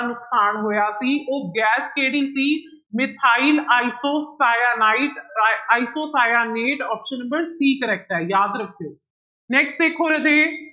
ਨੁਕਸਾਨ ਹੋਇਆ ਸੀ ਉਹ ਗੈਸ ਕਿਹੜੀ ਸੀ ਮਿਥਾਇਲ ਆਇਸੋਸਾਇਆਨਾਇਟ, ਰ isocyanate option number c correct ਹੈ ਯਾਦ ਰੱਖਿਓ next ਦੇਖੋ ਰਾਜੇ